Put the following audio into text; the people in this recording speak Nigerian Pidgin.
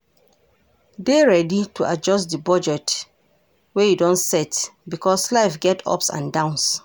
Dey ready to adjust di budget wey you don set because life get ups and downs